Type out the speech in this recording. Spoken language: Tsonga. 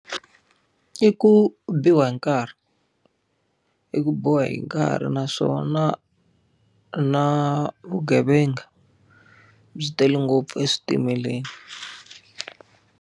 I ku biwa hi nkarhi. I ku biwa hi nkarhi naswona na vugevenga, byi tele ngopfu eswitimeleni.